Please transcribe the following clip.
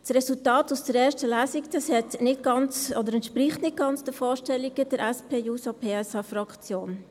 Das Resultat aus der ersten Lesung entspricht nicht ganz den Vorstellungen der SP-JUSO-PSAFraktion.